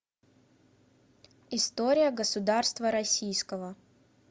история государства российского